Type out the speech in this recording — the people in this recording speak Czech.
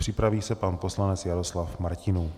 Připraví se pan poslanec Jaroslav Martinů.